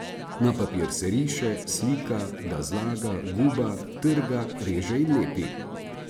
Na papir riše, slika, ga zlaga, guba, trga, reže in lepi.